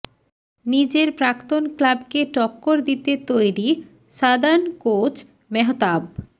নিজের প্রাক্তন ক্লাবকে টক্কর দিতে তৈরি সাদার্ন কোচ মেহতাব